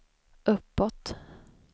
uppåt